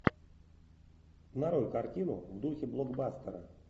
нарой картину в духе блокбастера